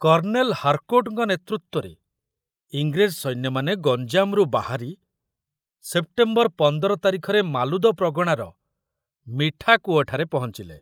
Colonel ହାରକୋର୍ଟଙ୍କ ନେତୃତ୍ବରେ ଇଂରେଜ ସୈନ୍ୟମାନେ ଗଞ୍ଜାମରୁ ବାହାରି ସେପ୍ଟେମ୍ବର ପଂଦର ତାରିଖରେ ମାଲୁଦ ପ୍ରଗଣାର ମିଠାକୂଅଠାରେ ପହଞ୍ଚିଲେ।